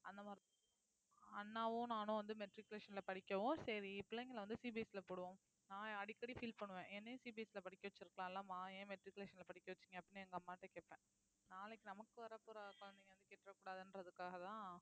அந்த மாதிரிதான் அண்ணாவும் நானும் வந்து matriculation ல படிக்கவும் சரி பிள்ளைங்களை வந்து CBSE ல போடுவோம் நான் அடிக்கடி feel பண்ணுவேன் என்னையும் CBSE ல படிக்க வச்சிருக்கலாலம்மா ஏன் matriculation ல படிக்க வச்சீங்க அப்படின்னு எங்க அம்மா கிட்ட கேட்பேன் நாளைக்கு நமக்கு வரப்போற குழந்தைங்க வந்து கேட்டர கூடாதுன்றதுக்காகதான்